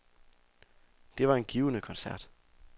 Det var en givende koncert.